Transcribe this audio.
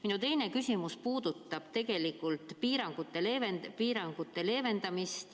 Minu teine küsimus puudutab tegelikult piirangute leevendamist.